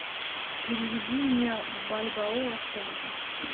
переведи мне бальбоа в тенге